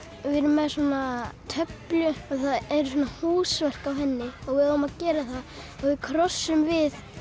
við erum með töflu það eru húsverk á henni við eigum að gera það og við krossum við